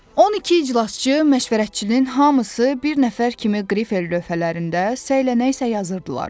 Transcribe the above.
12 iclasçı, məşvərətçinin hamısı bir nəfər kimi qrifel lövhələrində səylənək-səylənək yazırdılar.